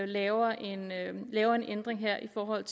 laver en ændring her i forhold